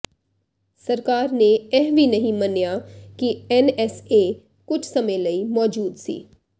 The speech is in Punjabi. ਸਰਕਾਰ ਨੇ ਇਹ ਵੀ ਨਹੀਂ ਮੰਨਿਆ ਕਿ ਐਨਐਸਏ ਕੁਝ ਸਮੇਂ ਲਈ ਮੌਜੂਦ ਸੀ